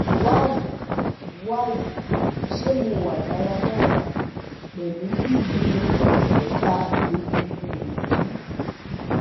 wayii wayii se mo wa daradara pelu gbigbin eka egungun yii?